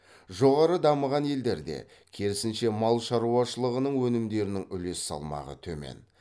жоғары дамыған елдерде керісінше мал шаруашылығының өнімдерінің үлес салмағы төмен